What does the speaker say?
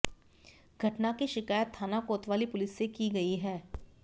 घटना की शिकायत थाना कोतवाली पुलिस से की गई है